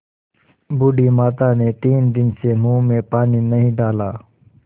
बूढ़ी माता ने तीन दिन से मुँह में पानी नहीं डाला